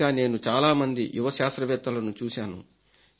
ఇంకా నేను చాలా మంది యువ శాస్త్రవేత్తలను చూశాను